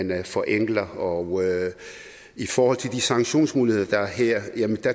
man forenkler og i forhold til de sanktionsmuligheder der er her